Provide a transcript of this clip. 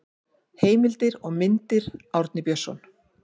heimildir og myndir árni björnsson